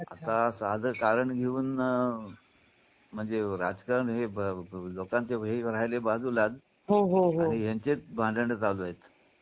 आता साधं कारण घेऊन म्हणजे राजकारण हे बघून लोकांचे हे राहिले बाजूलाच हो हो यांचे भांडण चालू आहेत.